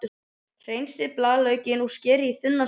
Hreinsið blaðlaukinn og skerið í þunnar sneiðar.